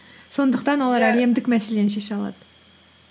сондықтан әлемдік мәселені шеше алады